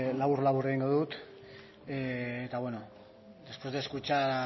labur labur egingo dut eta bueno después de escuchar